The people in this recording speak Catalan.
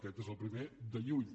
aquest és el primer de lluny